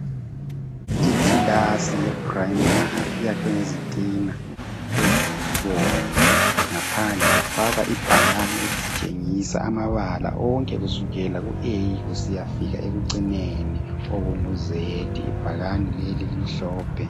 Ikilasi ye primary iyakhwe ngezitina ezibomvu, ngaphandle kwafakwa ibhakane elisitshengisa amabala onke kusukela ku A kusiyafika ekucineni okungu Z. Ibhakane leli limhlophe.